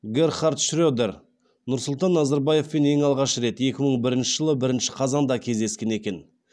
герхард шредер нұрсұлтан назарбаевпен ең алғаш рет екі мың бірінші жылы бірінші қазанда кездескен екен